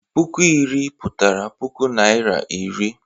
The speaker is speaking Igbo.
Puku iri pụtara puku Naịra iri.